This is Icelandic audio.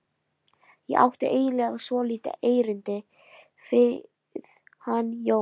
Ég átti eiginlega svolítið erindi við hann Jón.